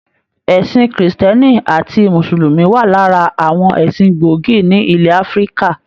Ẹsìn kírísítẹ́nì àti musulumi wa lára àwọn ẹsìn gbógì ni ilẹ Áfíríkà.